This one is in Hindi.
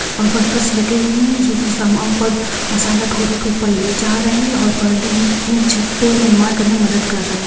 और वर्कर्स लगे हुए हैं जो कि समान पर मसाला ढो ढो के ऊपर ले जा रहे है और में छत पे निर्माण करने में मदद कर रहे है।